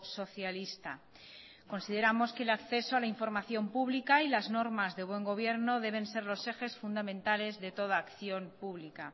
socialista consideramos que el acceso a la información pública y las normas de buen gobierno deben ser los ejes fundamentales de toda acción pública